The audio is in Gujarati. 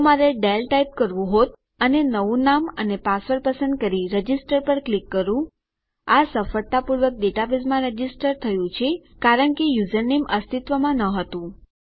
જો મારે ડેલ ટાઈપ કરવું હોત અને નવું નામ અને પાસવર્ડ પસંદ કરી રજીસ્ટર પર ક્લિક કરું આ સફળતાપૂર્વક ડેટાબેઝમાં રજીસ્ટર થયું છે કારણ કે યુઝરનેમ અસ્તિત્વમાં ન હતું